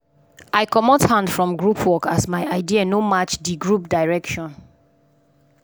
i comot hand from group work as my idea no match di group direction.